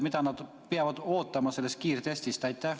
Mida nad peavad ootama sellest kiirtestist?